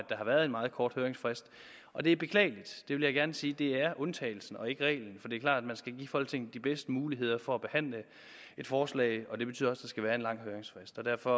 har været en meget kort høringsfrist og det er beklageligt jeg vil gerne sige at det er undtagelsen og ikke reglen klart at man skal give folketinget de bedste muligheder for at behandle et forslag og det betyder der skal være en lang høringsfrist derfor